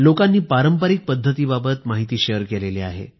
लोकांनी पारंपरिक पद्धतीबाबत तर माहिती शेअर केली आहे